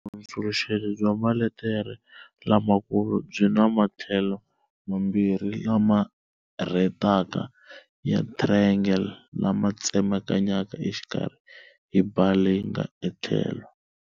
Vuhundzuluxeri bya maletere lamakulu byi na matlhelo mambirhi lama rhetaka ya triangle, lama tsemakanyeke exikarhi hi bar leyi nga etlhelo.